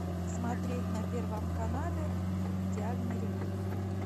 смотреть на первом канале идеальный ремонт